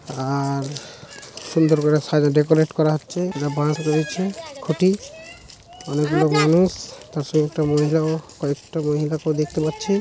আ-আর সুন্দরকরে সাইড -এ ডেকোরেট করা হচ্ছে একটা বাঁশ রয়েছে খুঁটি অনেকগুলো মানুষ তার সঙ্গে একটা মহিলাও কয়েকটা মহিলাকে দেখতে পাচ্ছি।